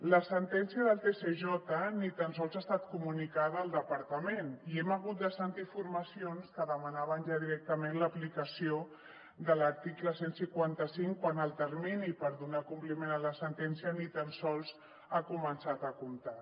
la sentència del tsj ni tan sols ha estat comunicada al departament i hem hagut de sentir formacions que demanaven ja directament l’aplicació de l’article cent i cinquanta cinc quan el termini per donar compliment a la sentència ni tan sols ha començat a comptar